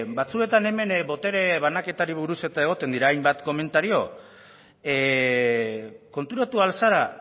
batzuetan hemen botere banaketari buruz egoten dira hainbat komentario konturatu ahal zara